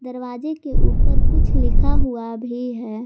दरवाजे के ऊपर कुछ लिखा हुआ भी है।